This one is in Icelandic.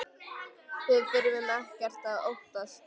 Við þurfum ekkert að óttast!